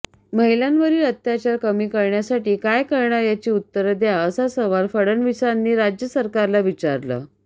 महिलांवरील अत्याचार कमी करण्यासाठी काय करणार याची उत्तर द्या असा सवाल फडणवीसांनी राज्य सरकारला विचारला